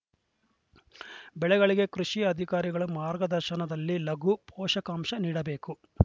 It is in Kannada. ಬೆಳೆಗಳಿಗೆ ಕೃಷಿ ಅಧಿಕಾರಿಗಳ ಮಾರ್ಗದರ್ಶನದಲ್ಲಿ ಲಘು ಪೋಷಕಾಂಶ ನೀಡಬೇಕು